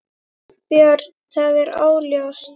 Björn: Það er óljóst?